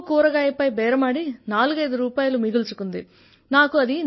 ఒక్కో కూరగాయపై బేరమాడి 45 రుపాయిలు మిగుల్చుకుంది